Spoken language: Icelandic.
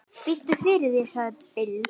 Biddu fyrir þér, sagði Bill.